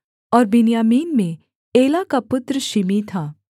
और बिन्यामीन में एला का पुत्र शिमी था